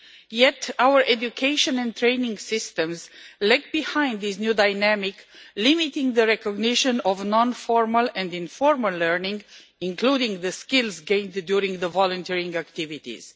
Yet our education and training systems lag behind this new dynamic, limiting the recognition of non formal and informal learning, including the skills gained during volunteering activities.